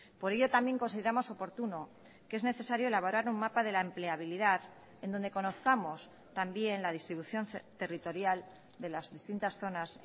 por ello también consideramos oportuno que es necesario elaborar un mapa de la empleabilidad en donde conozcamos también la distribución territorial de las distintas zonas